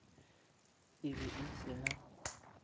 e be e se na